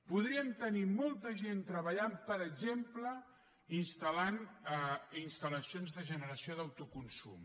podríem tenir molta gent treballant per exemple instal·lant instal·lacions de generació d’autoconsum